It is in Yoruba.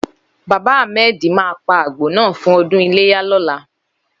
Baba Ahmed ma pa àgbò náà fún ọdún iléyà lọ́la.